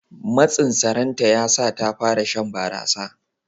Matsin saranta ya sa ta fara shan barasa.